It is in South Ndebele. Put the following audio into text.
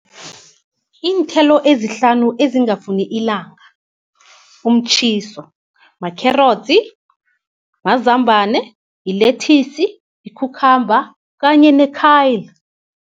Iinthelo ezihlanu ezingafuni ilanga, umtjhiso, makherotsi, amazambane, yilethisi, yikhukhamba kanye nekhayi